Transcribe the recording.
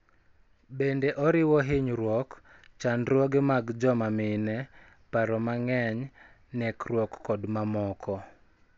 Bende oriwo hinyruok, chandruoge mag joma mine, paro mang�eny, nekruok kod mamoko.